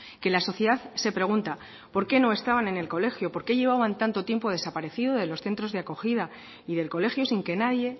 que la sociedad se pregunta por qué no estaban en el colegio por qué llevaban tanto tiempo desaparecidos de los centros de acogida y del colegio sin que nadie